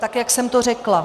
Tak jak jsem to řekla.